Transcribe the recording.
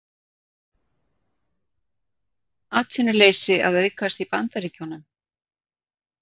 Atvinnuleysi að aukast í Bandaríkjunum